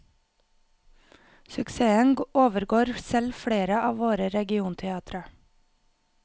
Suksessen overgår selv flere av våre regionteatre.